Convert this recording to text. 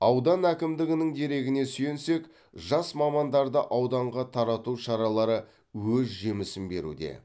аудан әкімдігінің дерегіне сүйенсек жас мамандарды ауданға тарату шаралары өз жемісін беруде